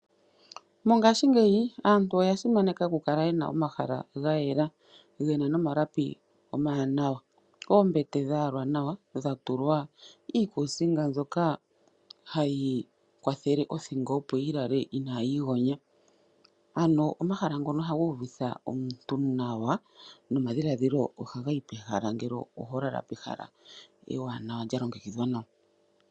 Mongashingeyi aantu oya simaneka oku kala yena omahala gayela nogena nomalapi omawanawa. Oombete dhayalwa nawa dhatulwa iikusinga mbyoka hayi kwathele othingo opo yilale inayi igonya, ano omahala ngono ohaga uvitha omuntu nawa nomadhiladhilo ogeli pehala ngele oho lala pehala ewanawa lyalongekidhwa nawa.